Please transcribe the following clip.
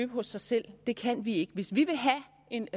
hos sig selv det kan vi ikke hvis vi vil have en